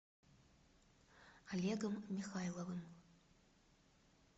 олегом михайловым